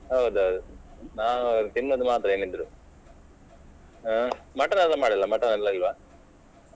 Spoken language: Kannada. ಹೌದ್ ಹೌದ್ ನಾವು ತಿನ್ನುದು ಮಾತ್ರ ಏನಿದ್ರೂ ಆ mutton ಎಲ್ಲ ಮಾಡಲಿಲ್ಲ್ವಾ mutton ಇಲ್ಲವಾ?